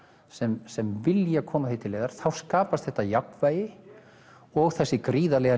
sem sem vilja koma því til leiðar þá skapast þetta jafnvægi og þessi gríðarlega